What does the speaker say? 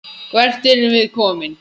Hvert erum við komin?